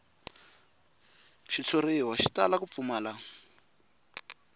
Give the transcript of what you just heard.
xitshuriwa xi tala ku pfumala